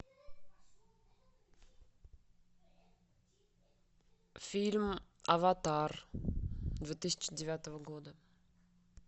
фильм аватар две тысячи девятого года